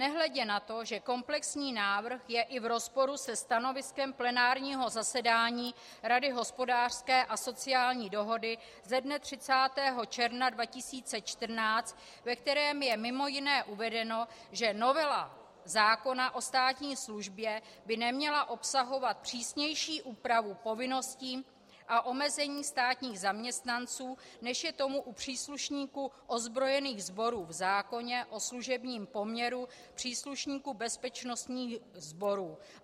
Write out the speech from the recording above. Nehledě na to, že komplexní návrh je i v rozporu se stanoviskem plenárního zasedání Rady hospodářské a sociální dohody ze dne 30. června 2014, ve kterém je mimo jiné uvedeno, že novela zákona o státní službě by neměla obsahovat přísnější úpravu povinností a omezení státních zaměstnanců, než je tomu u příslušníků ozbrojených sborů v zákoně o služebním poměru příslušníků bezpečnostních sborů.